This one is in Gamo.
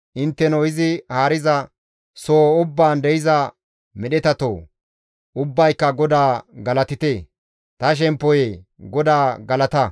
Intteno izi haariza soho ubbaan de7iza medhetatoo! ubbayka GODAA galatite. Ta shemppoyee! GODAA galata.